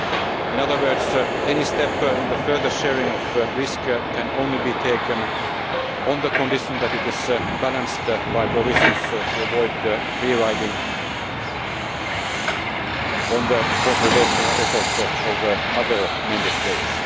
In other words, any step in the further sharing of risk can only be taken on the condition that it is balanced by provisions to avoid free riding on the consolidation efforts of other Member States.